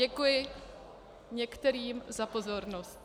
Děkuji některým za pozornost.